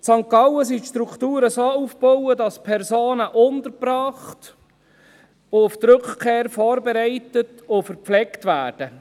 In St. Gallen sind die Strukturen so aufgebaut, dass Personen untergebracht und auf die Rückkehr vorbereitet und verpflegt werden.